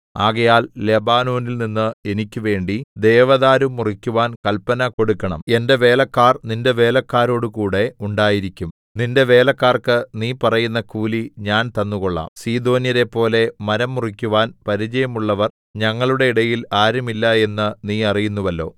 ആകയാൽ ലെബാനോനിൽനിന്ന് എനിക്കുവേണ്ടി ദേവദാരു മുറിയ്ക്കുവാൻ കല്പന കൊടുക്കണം എന്റെ വേലക്കാർ നിന്റെ വേലക്കാരോടുകൂടെ ഉണ്ടായിരിക്കും നിന്റെ വേലക്കാർക്ക് നീ പറയുന്ന കൂലി ഞാൻ തന്നു കൊള്ളാം സീദോന്യരെപ്പോലെ മരം മുറിയ്ക്കുവാൻ പരിചയമുള്ളവർ ഞങ്ങളുടെ ഇടയിൽ ആരും ഇല്ല എന്ന് നീ അറിയുന്നുവല്ലോ